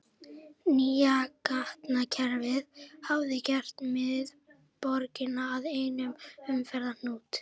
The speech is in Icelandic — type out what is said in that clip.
Nýja gatnakerfið hafði gert miðborgina að einum umferðarhnút.